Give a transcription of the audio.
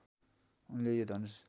उनले यो धनुष